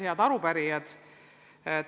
Head arupärijad!